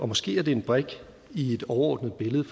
måske er det en brik i et overordnet billede